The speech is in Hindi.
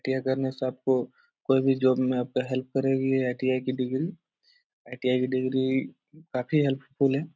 टी.आई. करने से आपको कोई भी जॉब में आपका हेल्प करेगी ये आई.टी.आई. की डिग्री आई.टी.आई. की डिग्री काफी हेल्पफुल है।